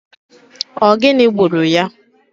Ogini gburu ya?